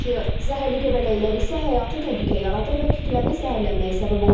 Zəhərli göbələklər isə həyatı təhlükə yaradır və kütləvi zəhərlənməyə səbəb ola bilər.